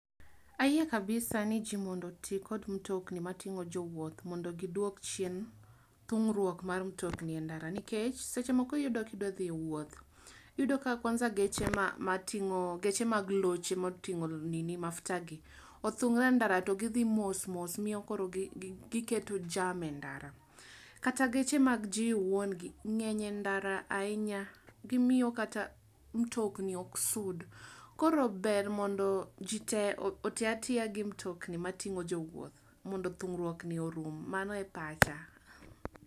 ayie kabisa ni ji mondo oti kod mtokni matingo jowuoth mondo oduok chien thung'ruok mar mtokni e ndara, nikech seche moko iyudo kidwa dhi e wuoth, iyudo ka kwanza geche mag loche matingo mafuta gi othungre e ndara to gidhi mos omiyo koro gi keto jam e ndara, kata geche mag ji wuon gi ng'eny e ndara ahinya gimiyo kata mitokni ok sud, koro ber mondo ji te oti atiya gi mtokni mating'o jowuoth mondo thung'ruok ni orum, mano e pacha